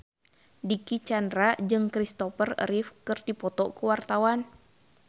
Dicky Chandra jeung Christopher Reeve keur dipoto ku wartawan